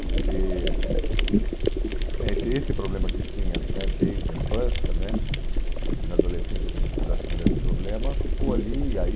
porque, uhum, né esse esse problema que tinha né desde a infância né e que na adolescência tinha sido acho que um grande problema ficou ali e aí